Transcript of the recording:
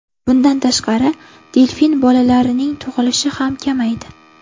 Bundan tashqari, delfin bolalarining tug‘ilishi ham kamaydi.